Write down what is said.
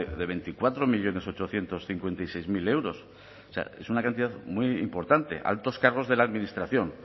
de veinticuatro millónes ochocientos cincuenta y seis mil euros o sea es una cantidad muy importante altos cargos de la administración